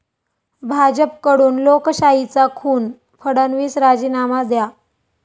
भाजपकडून लोकशाहीचा खून, फडणवीस राजीनामा द्या'